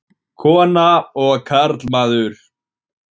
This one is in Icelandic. Kona og karlmaður.